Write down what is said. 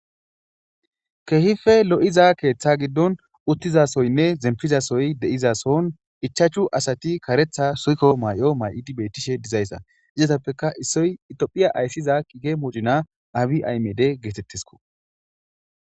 kehife lo7iza keeththa giddon uttizasoynne zempizasoy deizason ichaachu asati karetha suykko may7o may7o dibetishe dizayssa izatappeka issoy itophiya ayssiza kige moocina abi aymede geetettesko